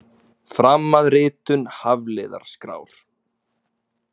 Fram að ritun Hafliðaskrár.